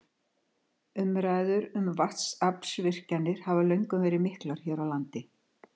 Umræður um vatnsaflsvirkjanir hafa löngum verið miklar hér á landi.